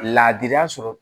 Laadiriya sɔrɔ